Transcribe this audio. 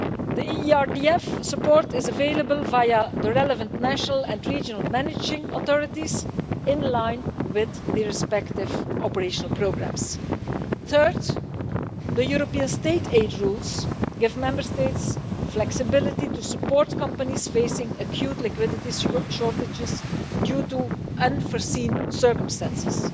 The ERDF support is available via the relevant national and regional managing authorities, in line with the respective operational programmes. Third, European state-aid rules give Member States flexibility to support companies facing acute liquidity shortages due to unforeseen circumstances.